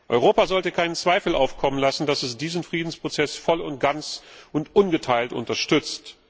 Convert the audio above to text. Europa sollte keinen Zweifel aufkommen lassen, dass es diesen Friedensprozess voll und ganz und ungeteilt unterstützt.